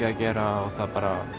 að gera það